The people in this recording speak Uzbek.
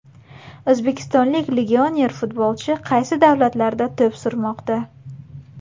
O‘zbekistonlik legioner futbolchilar qaysi davlatlarda to‘p surmoqda?